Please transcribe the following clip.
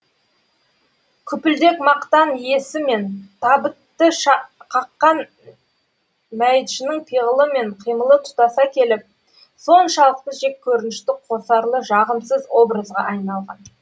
күпілдек мақтан иесі мен табытты қаққан мәйітшінің пиғылы мен қимылы тұтаса келіп соншалықты жеккөрінішті қосарлы жағымсыз образға айналған